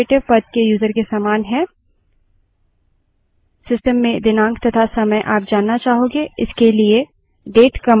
समरूपता बनाते हुए हम यह कह सकते हैं कि root यूज़र्स विन्डोज़ में administrator पद के यूज़र के समान है